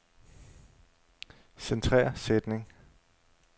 Centrer sætning.